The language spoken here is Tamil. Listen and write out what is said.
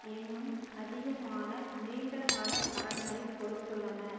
இன்னும் அதிகமான நீண்ட கால கடன்களை கொடுத்துள்ளன